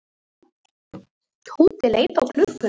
Tóti leit á klukkuna.